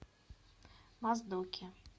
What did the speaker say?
моздоке